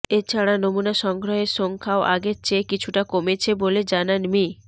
এছাড়া নমুনা সংগ্রহের সংখ্যাও আগের চেয়ে কিছুটা কমেছে বলে জানান মি